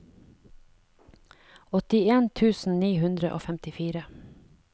åttien tusen ni hundre og femtifire